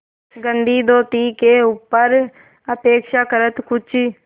गंदी धोती के ऊपर अपेक्षाकृत कुछ